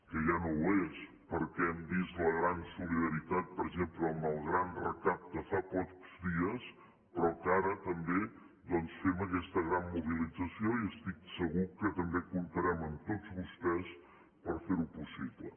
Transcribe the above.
que ja no ho és perquè hem vist la gran solidaritat per exemple amb el gran recapte fa pocs dies però que ara també doncs fem aquesta gran mobilització i estic segur que també comptarem amb tots vostès per fer ho possible